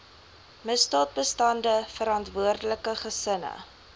misdaadbestande verantwoordelike gesinne